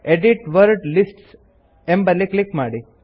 edit word lists ಎಂಬಲ್ಲಿ click ಮಾಡಿ